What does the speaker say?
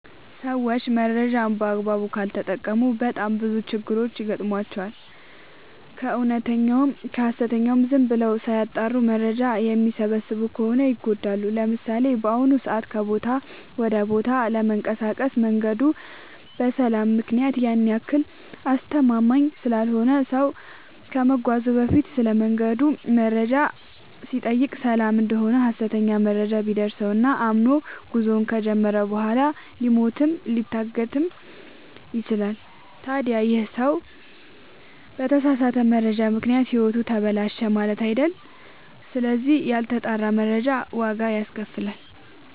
ሰዎች መረጃን በአግባቡ ካልተጠቀሙ በጣም ብዙ ችግሮች ይገጥሟቸዋል። ከእውነተኛውም ከሀሰተኛውም ዝም ብለው ሳያጠሩ መረጃ የሚሰበስቡ ከሆነ ይጎዳሉ። ለምሳሌ፦ በአሁኑ ሰዓት ከቦታ ወደ ቦታ ለመንቀሳቀስ መንገዱ በሰላም ምክንያት ያን ያክል አስተማመምኝ ስላልሆነ ሰው ከመጓዙ በፊት ስለመንገዱ መረጃ ሲጠይቅ ሰላም እደሆነ ሀሰተኛ መረጃ ቢደርሰው እና አምኖ ጉዞውን ከጀመረ በኋላ ሊሞትም ሊታገትም ይችላል። ታዲ ይህ ሰው በተሳሳተ መረጃ ምክንያት ህይወቱ ተበላሸ ማለት አይደል ስለዚህ ያልተጣራ መረጃ ዋጋ ያስከፍላል።